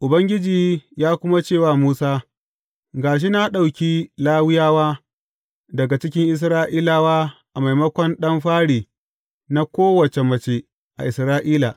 Ubangiji ya kuma ce wa Musa, Ga shi na ɗauki Lawiyawa daga cikin Isra’ilawa a maimakon ɗan fari na kowace mace a Isra’ila.